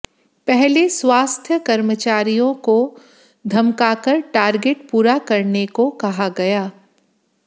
पहले स्वास्थ्य कर्मचारियों को धमकाकर टार्गेट पूरा करने को कहा गया